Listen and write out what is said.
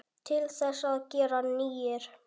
Til þess að gera nýir.